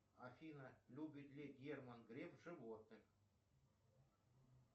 афина любит ли герман греф животных